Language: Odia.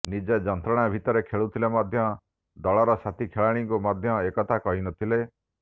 ନିଜେ ଯନ୍ତ୍ରଣା ଭିତରେ ଖେଳୁଥିଲେ ମଧ୍ୟ ଦଳର ସାଥୀ ଖେଳାଳିଙ୍କୁ ମଧ୍ୟ ଏକଥା କହିନଥିଲେ